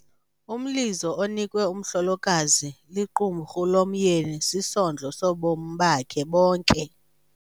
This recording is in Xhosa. Umlizo onikwe umhlolokazi liqumrhu lomyeni sisondlo sobomi bakhe bonke.